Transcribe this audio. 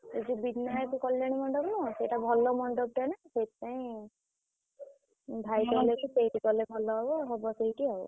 ଏ ଯୋଉ ବିନାୟକ କଲ୍ୟାଣୀ ମଣ୍ଡପ୍ ନୁହଁ ସେଇଟା ଭଲ ମଣ୍ଡପ୍ ଟା ନା ~ସେ ~ଇଥି ପାଇଁ। ଭାଇ କହିଲା କି ସେଇଠି କଲେ ଭଲ ହବ